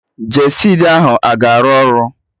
Gestid ahụ a ga-arụ ọrụ?